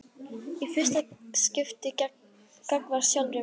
Og í fyrsta skipti gagnvart sjálfri sér.